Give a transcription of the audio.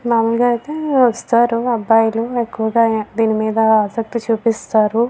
మామూలుగా అయితే వస్తారు అబ్బాయిలు ఎక్కువుగా దీని మీద ఆశక్తి చూపిస్తారు.